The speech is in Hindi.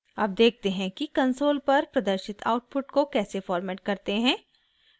अब देखते हैं कि कंसोल पर प्रदर्शित आउटपुट को कैसे फॉर्मेट करते हैं